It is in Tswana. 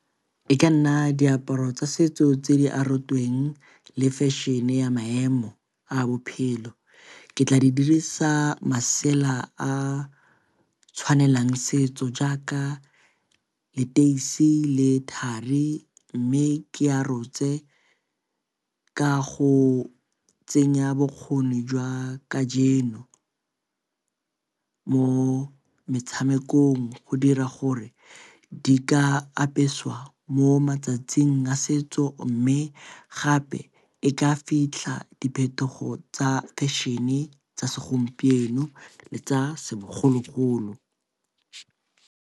E ka nna diaparo tsa setso tse di arotsweng le fashion-e ya maemo a bophelo. Ke tla di dirisa masela a tshwanelang setso jaaka leteisi le thari mme ke a rotse ka go tsenya bokgoni jwa kajeno mo metshamekong. Go dira gore di ka apeswa mo matsatsing a setso mme gape e ka fitlha diphetogo tsa fashion-e tsa segompieno le tsa segologolo.